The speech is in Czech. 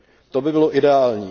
To by bylo ideální.